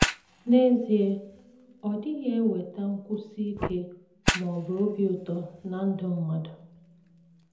N’ezie, ọ dịghị eweta nkwụsi ike ma ọ bụ obi ụtọ ná ndụ mmadụ.